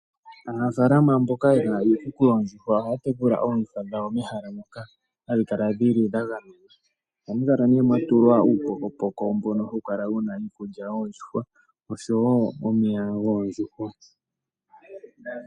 Aanafalama mboka yena iikuku yoondjuhwa ohaya tekula oondjuhwa dhawo mehala mono hadhi kala dha gamenwa. Ohamu kala mwa tulwa uupokopoko mbono hawu kala wuna iikulya yoondjuhwa oshowo omeya.